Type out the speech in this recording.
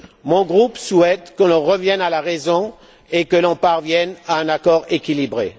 Mon groupe souhaite que l'on revienne à la raison et que l'on parvienne à un accord équilibré.